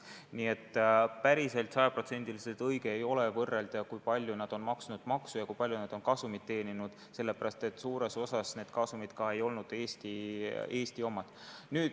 Nii et päris sajaprotsendiliselt õige ei ole võrrelda, kui palju nad on maksnud maksu ja kui palju nad on kasumit teeninud, sellepärast et suures osas need kasumid ei olnud Eesti omad.